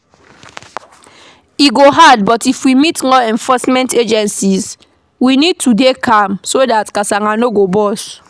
e go hard but if we meet law enforcement agents we need to dey calm so dat casala no go burst